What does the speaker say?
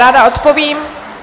Ráda odpovím.